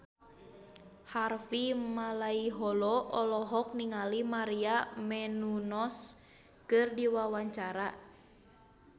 Harvey Malaiholo olohok ningali Maria Menounos keur diwawancara